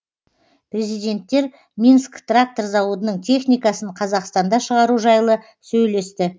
президенттер минск трактор зауытының техникасын қазақстанда шығару жайлы сөйлесті